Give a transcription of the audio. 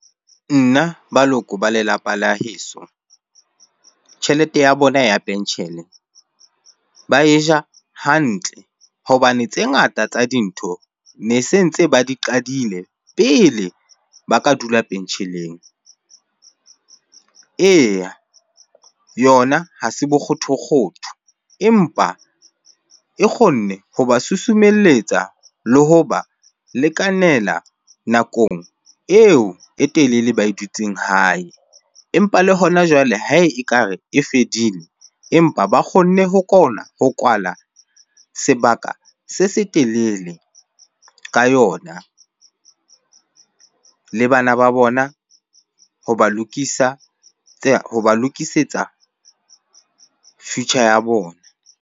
Nna, baloko ba lelapa la heso. Tjhelete ya bona ya penshene ba e ja hantle hobane tse ngata tsa dintho ne se ntse ba di qadile pele ba ka dula pensheneng. Eya, yona ha se bokgothokgotho empa e kgonne hoba susumelletsa le hoba lekanela nakong eo e telele ba e dutseng hae. Empa le hona jwale ha ekare e fedile empa ba kgonne ho ho kwala sebaka se se telele ka yona. Le bana ba bona hoba lokisa hoba lokisetsa future ya bona.